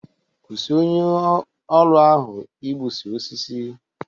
Kwụsi onye ọrụ ahụ igbusi osisi!